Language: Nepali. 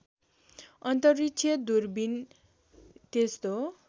अन्तरिक्ष दूरबीन त्यस्तो